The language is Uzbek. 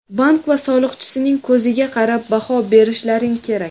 bank va soliqchisining ko‘ziga qarab baho berishlaring kerak.